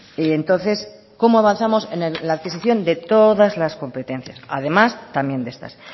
y entonces cómo avanzamos en la adquisición de todas las competencias además también de estas